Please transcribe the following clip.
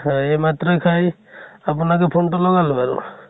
এই মাত্ৰয়ে খাই, আপোনাকে ফনেতো লগালো আৰু ।